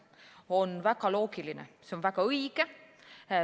See on väga loogiline, see on väga õige.